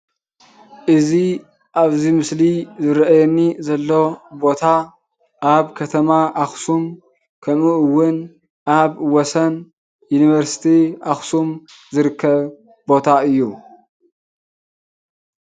እዚ ኣብዚ ምስሊ ዝርኣየኒ ዘሎ ቦታ ኣብ ከተማ ኣክሱም ከምኡ እውን ወሰን ዩኒቨርሲቲ ኣክሱም ዝርከብ ቦታ እዩ።